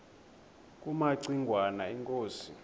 kumaci ngwana inkosi